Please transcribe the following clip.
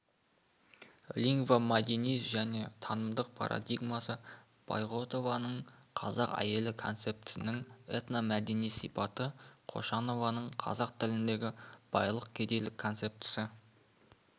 лингвомәдени және танымдық парадигмасы байғұтованың қазақ әйелі концептісінің этномәдени сипаты қошанованың қазақ тіліндегі байлық-кедейлік концептісі